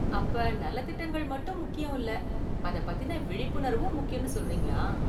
அப்ப நலத்திட்டங்கள் மட்டும் முக்கியம் இல்ல அதை பத்தின விழிப்புணர்வும் முக்கியம்னு சொல்றீங்களா?